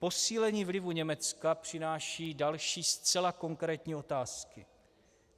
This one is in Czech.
Posílení vlivu Německa přináší další zcela konkrétní otázky.